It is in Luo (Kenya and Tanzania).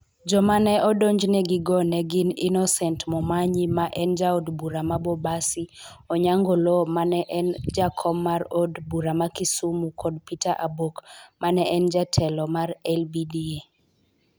Joma ne odonjnegigo ne gin Innocent Momanyi ma en Jaod Bura ma Bobasi, Onyango Oloo ma ne en Jakom mar Od Bura ma Kisumu kod Peter Abok ma ne en Jatelo mar LBDA.